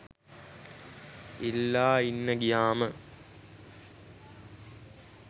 ඉල්ලා ඉන්න ගියාම